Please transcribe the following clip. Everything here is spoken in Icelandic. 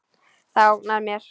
Það ógnar mér.